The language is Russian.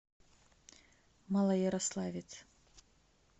малоярославец